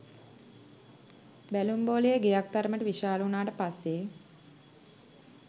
බැලුම් බෝලය ගෙයක් තරම් විශාල වුණාට පස්සේ